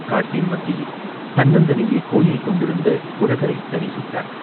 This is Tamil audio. காட்டின் மத்தியில் தன்னந்தனியே கோயில் கொண்டிருந்த குழகரைத் தரிசித்தார்.